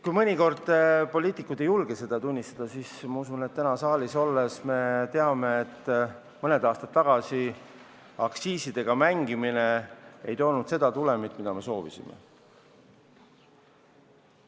Kui mõnikord poliitikud ei julge seda tunnistada, siis täna siin saalis olles me teame, et mõned aastad aktsiisidega mängimist ei toonud seda tulemit, mida me soovisime.